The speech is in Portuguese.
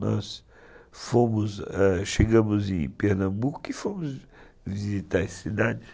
Nós fomos, chegamos em Pernambuco e fomos visitar as cidades.